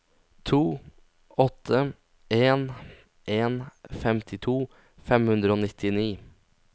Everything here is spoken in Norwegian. to åtte en en femtito fem hundre og nittini